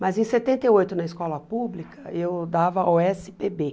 Mas em setenta e oito, na escola pública, eu dava ó esse pê bê.